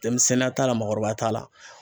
Denmisɛnninya t'a la ,mɔgɔkɔrɔbaya t'a la.